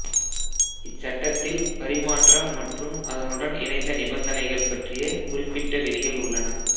இச்சட்டத்தில் பரிமாற்றம் மற்றும் அதனுடன் இணைந்த நிபந்தனைகள் பற்றிய குறிப்பிட்ட விதிகள் உள்ளன